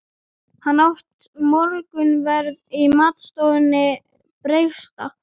Hann át morgunverð í matstofu presta.